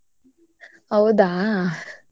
ಹೌದಾ.